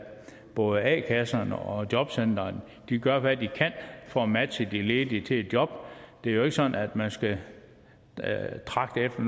både a kasserne og jobcentrene gør hvad de kan for at matche de ledige til et job det er jo ikke sådan at man skal tragte efter